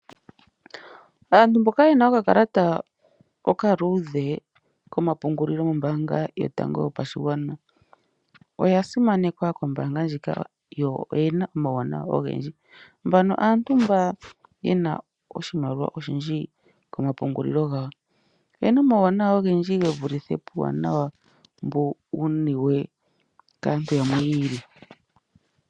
Aantu mboka yena okakalata okaluudhe komapungulilo gombaanga yotango yopashigwana oya simanekwa kombaanga ndjika yo oyena omawuwanawa ogendji. Mbaka oyo aantu mboka yena oshimaliwa oshindji komapungulilo gawo. Oyena omawuwanawa ogendji gevulithe pomawuwanawa mboka wuniwe kaantu yamwe yi ili.